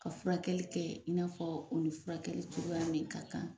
Ka furakɛli kɛ in n'a fɔ o ni furakɛli cogoya min ka kan.